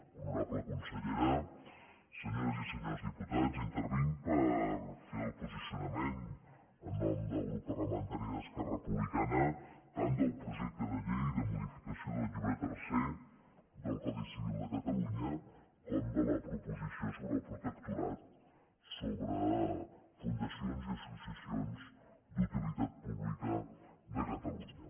honorable consellera senyores i senyors diputats intervinc per fer el posicionament en nom del grup parlamentari d’esquerra republicana tant del projecte de llei de modificació del llibre tercer del codi civil de catalunya com de la proposició sobre el protectorat sobre fundacions i associacions d’utilitat pública de catalunya